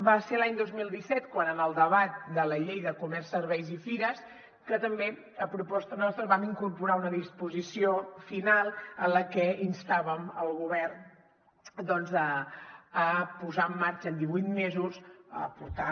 va ser l’any dos mil disset en el debat de la llei de comerç serveis i fires que també a proposta nostra vam incorporar una disposició final en la que instàvem el govern doncs a posar en marxa en divuit mesos a portar